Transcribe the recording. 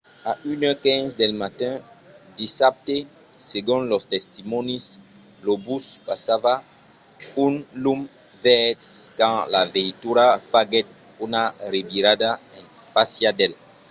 a 1:15 del matin dissabte segon los testimònis lo bus passava un lum verd quand la veitura faguèt una revirada en fàcia d'el